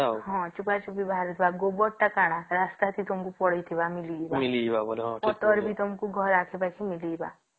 ହଁ ଚୋପା ଚୋପି ବାହାରୁଥିବା ଆଉ ଗୋବର ଥି କଣ ରାସ୍ତା ଥି ପଡିଥିବା ତମକୁ ମିଳିଯିବ ପତ୍ର ବି ତମକୁ ଘର ଆଖ ପାଖ ଥି ମିଳିଯିବ